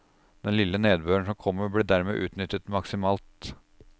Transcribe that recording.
Den lille nedbøren som kommer blir dermed utnyttet maksimalt.